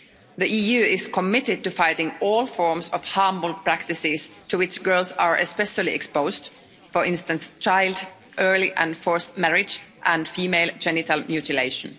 The EU is committed to fighting all forms of harmful practices to which girls are especially exposed, for instance child, early and forced marriage and female genital mutilation.